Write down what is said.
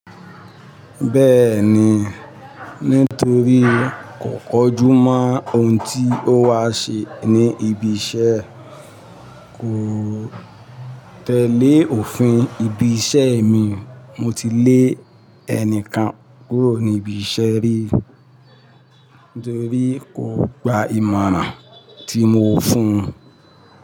Bẹ́ẹ̀ni, nítorí kò kọjú mọ́ ohun tí ó wà ṣe ní ibi iṣẹ́, kò tẹ́le òfin ibi iṣẹ́ mi, mo ti lé ẹnìkan kúrò ní ibi iṣẹ́ rí torí kò gba ìmọ̀ràn tí mo fún un.